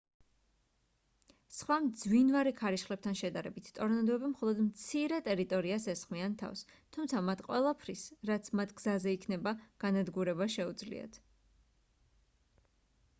სხვა მძვინვარე ქარიშხლებთან შედარებით ტორნადოები მხოლოდ მცირე ტერიტორიას ესხმიან თავს თუმცა მათ ყველაფრის რაც მათ გზაზე იქნება განადგურება შეუძლიათ